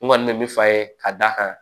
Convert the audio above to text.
N kɔni bɛ min fɔ a ye ka d'a kan